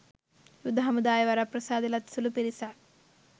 යුද හමුදාවේ වරප්‍රසාද ලත් සුළු පිරිසක්